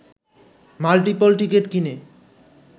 multiple ticket কিনে